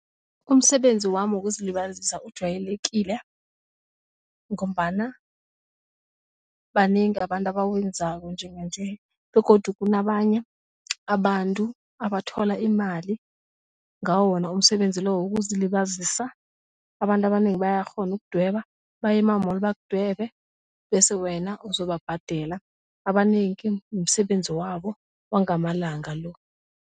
Umsebenzi wami wokuzilibazisa ujwayelekile ngombana banengi abantu abawenzako njenganje begodu kunabanye abantu abathola imali ngawo wona umsebenzi lo wokuzilibazisa abantu abanengi bayakghona ukudweba bayema-mall bakudwebe bese wena uzobabhadela abanengi msebenzi wabo wangamalanga lo.